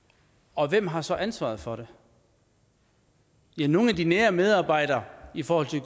og hvem har så ansvaret for det ja nogle af de nære medarbejdere i forhold til